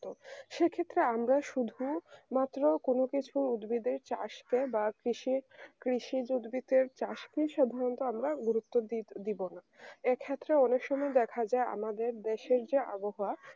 ক্ষেত্রে আমরা শুধুমাত্র কোন কিছু উদ্ভিদের চাষকে বা কৃষি বা কৃষি উদ্ভিদের চাষকে সাধারণত গুরুত্ব দিবোনা এক্ষেত্রে অনুশীলন দেখা যায় আমাদের দেশে যে আবহাওয়া